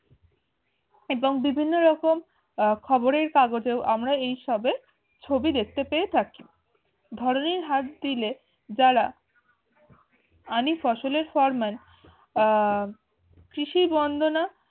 এবং বিভিন্ন রকম আহ খবরের কাগজেও আমরা এই সবের ছবি দেখতে পেয়ে থাকি। হাত দিলে যারা আনি ফসলের ফরমান আহ কৃষি বৰ্ণনা